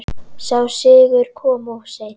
Sá sigur kom of seint.